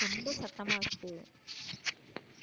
ரொம்ப சத்தமா இருக்குது.